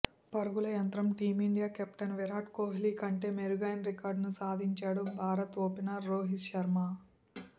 పరుగుల యంత్రం team India captain Virat Kohli కంటే మెరుగైన రికార్డును సాధించాడు భారత ఓపెనర్ రోహిత్ శర్మ